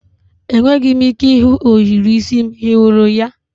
Enweghị m ike ịhụ ohiri isi m, ị hụrụ ya?